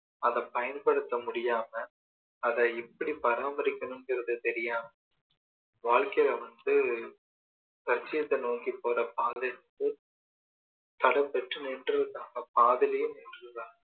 அதை பயன்படுத்த முடியாம அதை எப்படி பாராமரிக்கணுங்குறது தெரியாம வாழ்கையில வந்து லட்சியத்த நோக்கி போற பாதை வந்து தடைபெற்று நின்றுதான் பாதியிலேயே நின்றுடுறாங்க